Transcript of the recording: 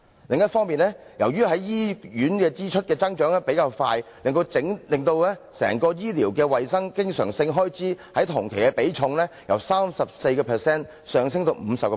另一方面，由於在醫院支出的增長比較快，令其佔醫療衞生的經常性開支在同期的比例，由 34% 上升至 50%。